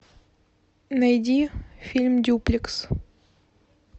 найди фильм дюплекс